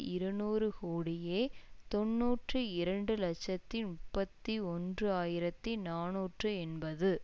இருநூறு கோடியே தொன்னூற்றி இரண்டு இலட்சத்தி முப்பத்தி ஒன்று ஆயிரத்தி நாநூற்று எண்பது